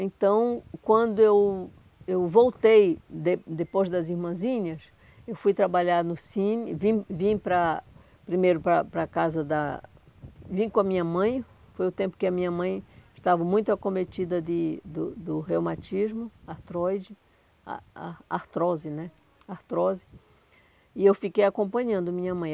Então, quando eu eu voltei, de depois das irmãzinhas, eu fui trabalhar no Cine, vim vim para primeiro para para casa da... Vim com a minha mãe, foi o tempo que a minha mãe estava muito acometida de do do reumatismo, artroide ar ar artrose né artrose, e eu fiquei acompanhando minha mãe.